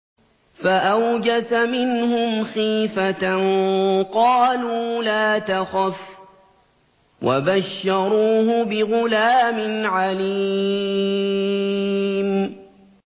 فَأَوْجَسَ مِنْهُمْ خِيفَةً ۖ قَالُوا لَا تَخَفْ ۖ وَبَشَّرُوهُ بِغُلَامٍ عَلِيمٍ